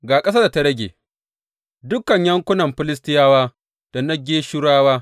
Ga ƙasar da ta rage, dukan yankunan Filistiyawa da na Geshurawa.